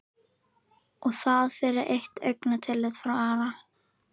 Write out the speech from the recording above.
Og það fyrir eitt augnatillit frá Ara?